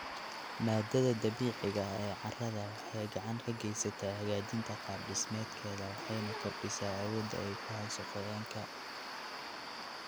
Maaddada dabiiciga ah ee carrada waxay gacan ka geysataa hagaajinta qaab-dhismeedkeeda waxayna kordhisaa awoodda ay ku hayso qoyaanka.